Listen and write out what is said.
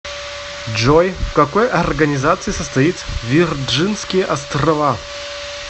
джой в какой организации состоит вирджинские острова